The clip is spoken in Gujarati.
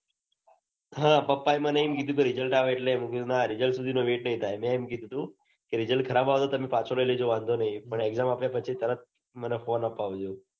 હા પાપા એ મને કીધું કે results આવ એટલે પણ results સુધી તો wait નઈ થાય મેં એમ કીધું તું. results ખરાબ આવે તો તમે પાછો લઇ લેજો મને વાંધો નઈ. પણ exam આપ્યા પછી મને તરત મન ફોન અપાવજો